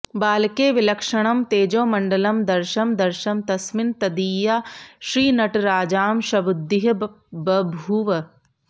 बालके विलक्षणं तेजोमण्डलं दर्शं दर्शं तस्मिन् तदीया श्रीनटराजांशबुद्धिः बभूव